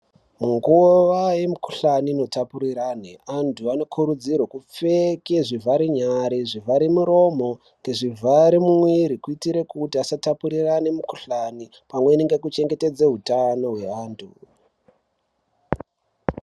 Munguwa yemukhuhlani inotapurirwana antu anokurudzirwe kupfeke zvivhare nyara nezvivhare muromo nezvivhare mumwiri kuitire kuti vasatapurirane mikhuhlani pamwechete nekuchengetedze utano hweantu.